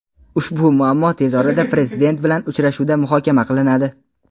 ushbu muammo tez orada Prezident bilan uchrashuvda muhokama qilinadi.